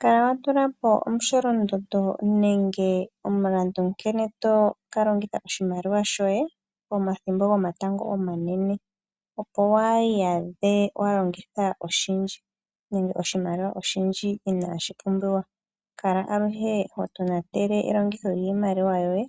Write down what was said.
Kala watula po momusholondondo nenge omulandu nkene to ka longitha oshimaliwa shoye pomathimbo gomatango omanene, opo waa iyadhe wa longitha oshindji nenge oshimaliwa oshindji inaashi pumbiwa. Kala aluhe ho tonatele elongitho lyiimaliwa yoye,